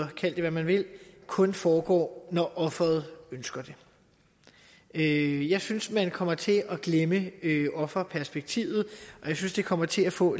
kan kalde det hvad man vil kun foregår når offeret ønsker det jeg synes man kommer til at glemme offerperspektivet og jeg synes det kommer til at få